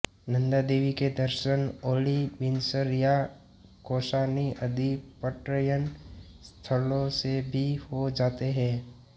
नन्दादेवी के दर्शन औली बिनसर या कौसानी आदि पर्यटन स्थलों से भी हो जाते हैं